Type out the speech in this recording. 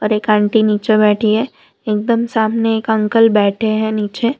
एक आंटी नीचे बैठी है एकदम सामने एक अंकल बैठे हैं नीचे।